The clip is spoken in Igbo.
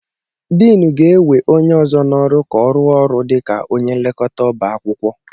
Diinu ga-ewe onye ọzọ n'ọrụ ka ọ rụọ ọrụ dịka onye nlekọta ọba akwụkwọ.